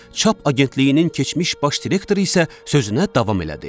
Çap agentliyinin keçmiş baş direktoru isə sözünə davam elədi.